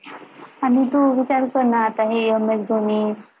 आणि तू विचारकरना आता हे ms dhoni